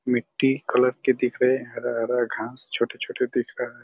मिट्टी कलर के दिख रहे हैं हरा-हरा घास छोटे-छोटे दिख रहा हैं।